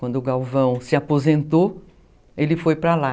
Quando o Galvão se aposentou, ele foi para lá.